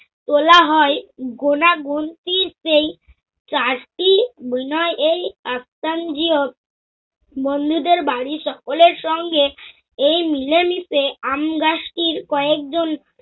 তোলা হয় গোনাগুনতি সেই চারটি । বন্ধুদের বাড়ী সকলের সঙ্গে এই মিলে-মিশে আমগাছটির কয়েকজন